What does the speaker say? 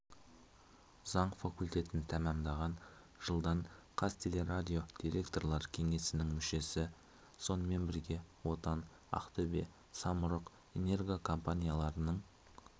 заң факультетін тәмамдаған жылдан қазтелерадио директорлар кеңесінің мүшесі сонымен бірге отан ақтөбе самұрық энерго компанияларының